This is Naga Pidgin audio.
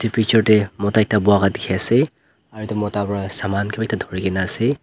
picture tae mota ekta bola dikhiase aro edu mota pra saman kila dhurina ase.